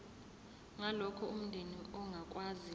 ngalokho umndeni ongakwazi